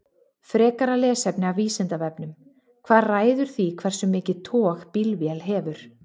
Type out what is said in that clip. Frekara lesefni af Vísindavefnum: Hvað ræður því hversu mikið tog bílvél hefur?